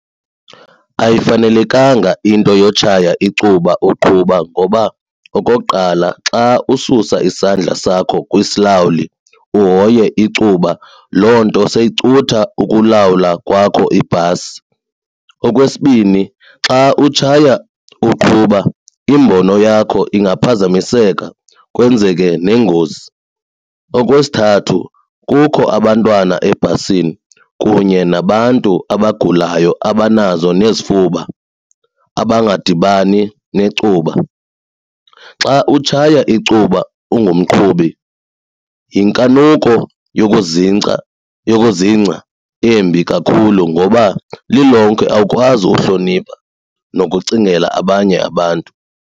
Ayifanelekanga into yotshaya icuba uqhuba ngoba okokuqala xa ususa isandla sakho kwisilawuli uhoye icuba loo nto seyicutha ukulawula kwakho ibhasi. Okwesibini, xa utshaya uqhuba imbono yakho ingaphazamiseka kwenzeke neengozi. Okwesithathu, kukho abantwana ebhasini kunye nabantu abagulayo abanazo nezifuba abangadibani necuba. Xa utshaya icuba ungumqhubi yinkanuko yokuzingca yokuzingca embi kakhulu ngoba lilonke awukwazi uhlonipha nokucingela abanye abantu.